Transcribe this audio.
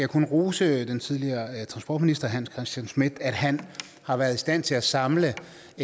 kun rose den tidligere transportminister hans christian schmidt for at han har været i stand til at samle